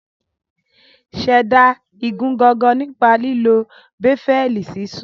Ṣẹ̀dá igun gangan nípa lílo béfẹ́ẹ̀lì sisun